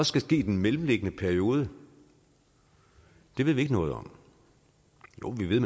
skal ske i den mellemliggende periode ved vi ikke noget om jo vi ved